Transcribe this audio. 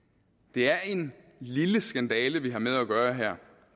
det er en lille skandale vi her har med at gøre